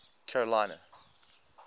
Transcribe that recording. carolina